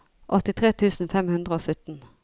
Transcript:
åttitre tusen fem hundre og sytten